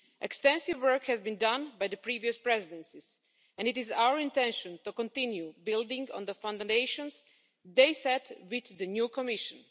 Extensive work has been done by the previous presidencies, and it is our intention to continue building on the foundations they set with the new Commission.